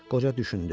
Qoca düşündü.